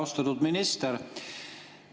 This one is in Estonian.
Austatud minister!